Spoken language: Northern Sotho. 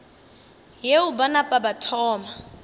yeo ba napa ba thoma